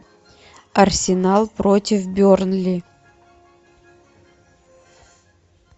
арсенал против бернли